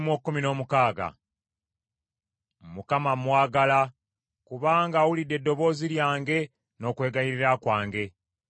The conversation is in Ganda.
Mukama mmwagala, kubanga awulidde eddoboozi lyange n’okwegayirira kwange.